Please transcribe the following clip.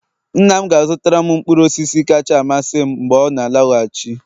nna m ga-azutaram mkpụrụ osisi kacha amasị m mgbe ọ na-alọghachi